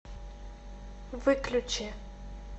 выключи